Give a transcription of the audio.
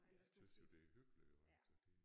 Jeg tys jo det er hyggeligt jo så det